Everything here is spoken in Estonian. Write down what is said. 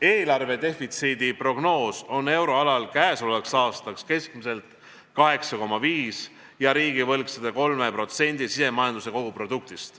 Eelarvedefitsiidi prognoos on euroalal käesolevaks aastaks keskmiselt 8,5% ja riigivõlg 103% SKP-st.